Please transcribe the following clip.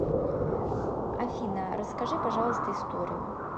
афина расскажи пожалуйста историю